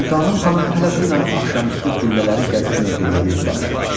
Sultanım xanım hələ dünən axşamüstü qüllələri gəzib mövqeləri yoxlamışdı.